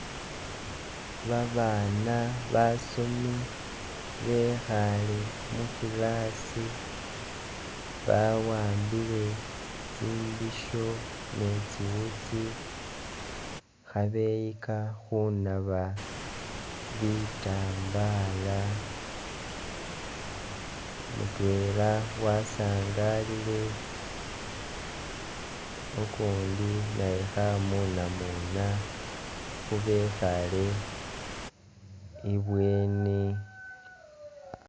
Babana basomi bekhale mu class bawambile tsimbisho ni tsi'wutsi khabeyika khunaba bitambala, mutwela wasangalile ukundi naye khamunamuna khubekhale ibweni